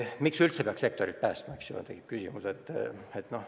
Miks üldse peaks sektorit päästma, tekib küsimus.